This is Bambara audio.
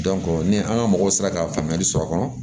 ni an ka mɔgɔ sera ka faamuyali sɔrɔ a kɔnɔ